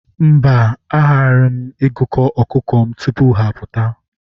Mba, agaraghị m agụkọ ọkụkọ m tupu ha apụta.